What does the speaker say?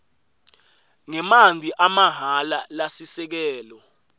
ngemanti amahhala lasisekelo